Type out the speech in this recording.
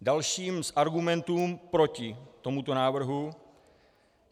Další z argumentů proti tomuto návrhu.